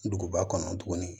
Duguba kɔnɔ tuguni